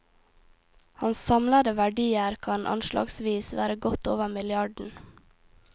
Hans samlede verdier kan anslagsvis være godt over milliarden.